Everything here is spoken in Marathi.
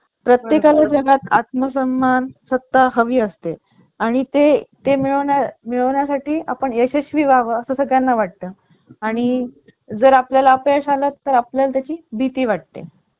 दुरुस्त करण्याचा सण सर्व गोष्टी laptop मध्ये install असल्यामुळे दुरुस्त करताना अनेक अडचणी येऊ शकतात. desktop च्या तुलने याशिवाय याचे कंपनीनेट्स सुद्धा महाग आता दुरुस्त करण्यास अवघड असल्यामुळे